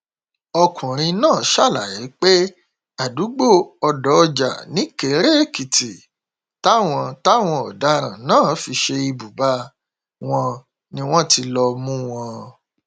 ọkùnrin náà ṣàlàyé pé àdúgbò ọdọọjà nìkéréèkìtì táwọn táwọn ọdaràn náà fi ṣe ibùba wọn ni wọn ti lọọ mú wọn